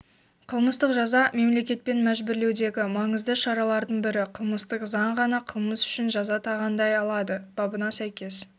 қылмыстық жаза-мемлекетпен мәжбүрлеудегі маңызды шаралардың бірі қылмыстық заң ғана қылмыс үшін жаза тағайындай алады бабына сәйкес